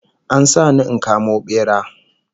An sa ni in kamo bera